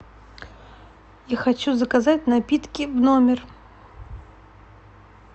я хочу заказать напитки в номер